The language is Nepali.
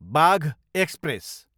बाघ एक्सप्रेस